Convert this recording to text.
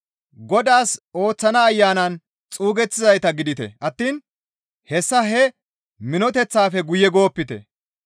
Godaas ooththana Ayanan xuugettizayta gidite attiin hessa he minoteththaafe guye goopite.